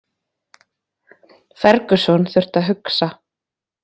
Ferguson þurfti að hugsa